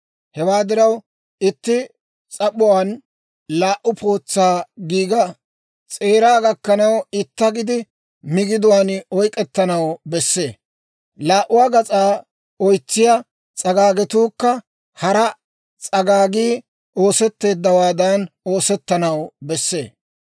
Hewaa diraw, itti s'ap'uwaan laa"u pootsaa giiga s'eeraa gakanaw itta gidi migiduwaan oyk'k'etanaw bessee; laa"uu gas'aa oytsiyaa s'agaagatuukka hara s'agaagii oosettowaadan oosetanaw bessee.